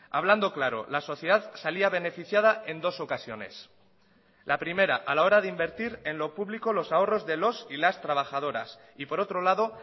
hablando claro la sociedad salía beneficiada en dos ocasiones la primera a la hora de invertir en lo público los ahorros de los y las trabajadoras y por otro lado